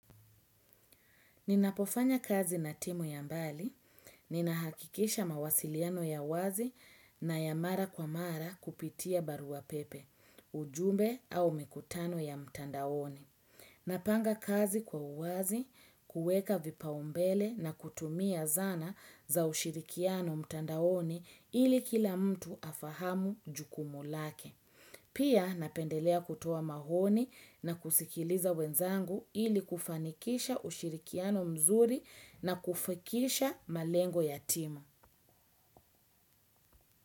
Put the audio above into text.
Ninapofanya kazi na timu ya mbali, ninahakikisha mawasiliano ya wazi na ya mara kwa mara kupitia barua pepe, ujumbe au mikutano ya mtandaoni. Napanga kazi kwa uwazi, kueka vipao mbele na kutumia zana za ushirikiano mtandaoni ili kila mtu afahamu jukumu lake. Pia napendelea kutoa mahoni na kusikiliza wenzangu ili kufanikisha ushirikiano mzuri na kufikisha malengo ya timu.